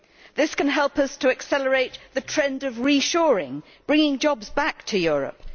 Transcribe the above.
This can help us to accelerate the trend of re-shoring bringing jobs back to Europe.